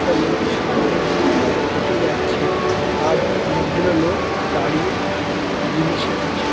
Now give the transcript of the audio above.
একটা লোক সামনে দিয়ে হেঁটে যাচ্ছে। আর অনেকগুলো লোক দাঁড়িয়ে জিনিস কিনছে।